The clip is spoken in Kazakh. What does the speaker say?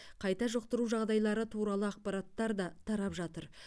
қайта жұқтыру жағдайлары туралы ақпараттар да тарап жатыр